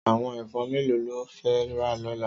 Àwòn èfòn méló ló fè rá lòlá?